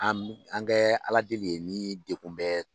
An an kɛ Ala deli ye ni degun bɛ